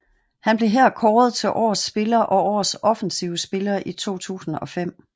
Han blev her kåret til Årets Spiller og Årets Offensive Spiller i 2005